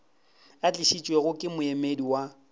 a tlišitšwego ke moemedi wa